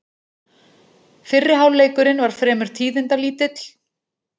Fyrri hálfleikurinn var fremur tíðindalítill